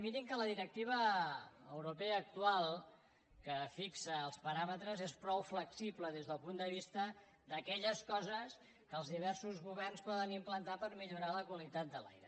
mirin que la directiva europea actual que fixa els paràmetres és prou flexible des del punt de vista d’aquelles coses que els diversos governs poden implantar per millorar la qualitat de l’aire